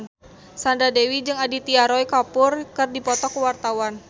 Sandra Dewi jeung Aditya Roy Kapoor keur dipoto ku wartawan